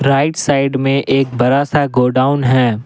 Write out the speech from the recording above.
Right side में एक बड़ा सा गोडाउन है।